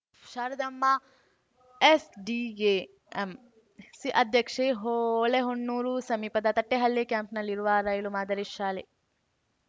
Sharadamma SDMC ಅಧ್ಯಕ್ಷೆ ಹೊಳೆಹೊನ್ನೂರು ಸಮೀಪದ ತಟ್ಟೆಹಳ್ಳಿ ಕ್ಯಾಂಪ್‌ನಲ್ಲಿರುವ ರೈಲು ಮಾದರಿ ಶಾಲೆ